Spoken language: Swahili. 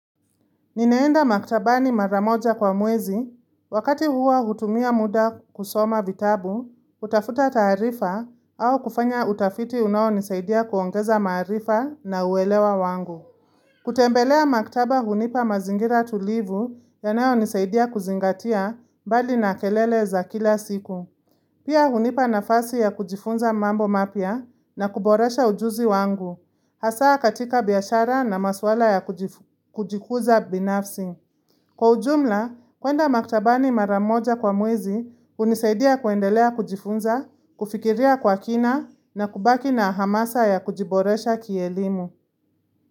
Ninaenda maktabani mara moja kwa mwezi, wakati huwa hutumia muda kusoma vitabu, kutafuta taarifa, au kufanya utafiti unao nisaidia kuongeza maarifa na uelewa wangu. Kutembelea maktaba hunipa mazingira tulivu ya nayo nisaidia kuzingatia mbali na kelele za kila siku. Pia hunipa nafasi ya kujifunza mambo mapya na kuboresha ujuzi wangu, hasa katika biashara na maswala ya kujikuza binafsi. Kwa ujumla, kuenda maktabani mara moja kwa mwezi hunisaidia kuendelea kujifunza, kufikiria kwa kina na kubaki na hamasa ya kujiboresha kielimu.